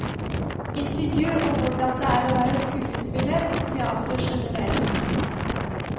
Intervju om hvordan det er å være skuespiller og teater generelt.